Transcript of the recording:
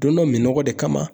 Don dɔ minɔgɔ de kama.